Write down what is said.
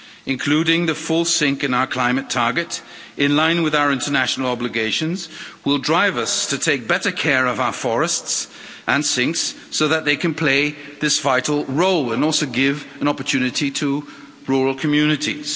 Including the full sink in our climate target in line with our international obligations will drive us to take better care of our forests and sinks so that they can play this vital role and also give an opportunity to rural communities.